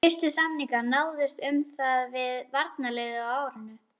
Fyrstu samningar náðust um það við varnarliðið á árinu